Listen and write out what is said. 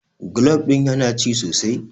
golab ɗin yana ci sosai?